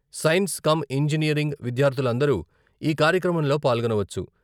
Science cum engineering విద్యార్ధులందరూ ఈ కార్యక్రమంలో పాల్గొనవచ్చు.